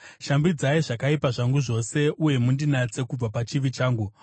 Shambidzai zvakaipa zvangu zvose uye mundinatse kubva pachivi changu.